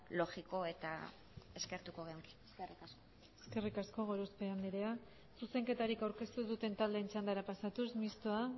logikoa eta eskertuko genuke eskerrik asko eskerrik asko gorospe andrea zuzenketarik aurkeztu ez duten taldeen txandara pasatuz mistoa